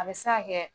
A bɛ se ka kɛ